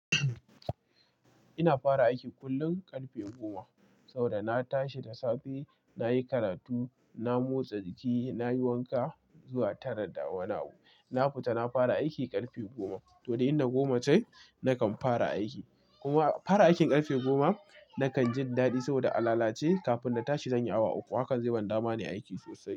Ina fara aiki kullum karfe goma, saboda na tashi da safe, na yi karatu, na motsa jiki, na yi wanka zuwa tara da wani abu. Na futa na fara aiki karfe goma, to, du in da goma tai, nakan fara aiki. Kuma fara aikin karfe goma, nakan jin daɗi saboda a lalace kafin na tashi zan yi awa uku. Hakan zai ban dama nai aiki sosai.